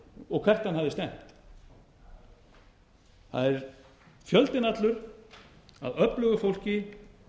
og hvert hann hafði stefnt það er fjöldinn allur af öflugu fólki